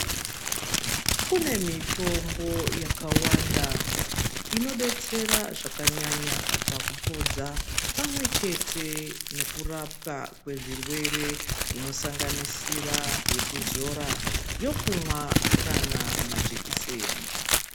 Kune mitombo yakawanda inodetsera zvakanyanya pakupodza pamwechete nekurapwa kwezvirwere zvino sanganisira yekuzora yekumwa kana majekiseni.